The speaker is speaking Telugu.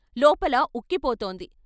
లోపల ఉక్కిపోతోంది.